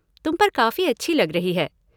तुम पर काफ़ी अच्छी लग रही है।